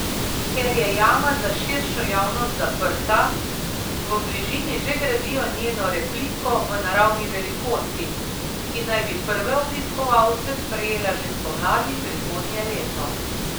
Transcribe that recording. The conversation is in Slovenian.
Ker je jama za širšo javnost zaprta, v bližini že gradijo njeno repliko v naravni velikosti, ki naj bi prve obiskovalce sprejela že spomladi prihodnje leto.